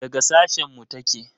Daga sashen mu take?